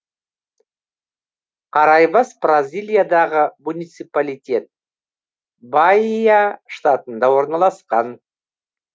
караибас бразилиядағы муниципалитет баия штатында орналасқан